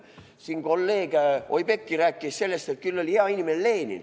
" Kolleeg Oudekki rääkis sellest, et küll oli Lenin hea inimene.